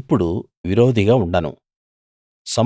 ఇప్పుడు విరోధిగా ఉండను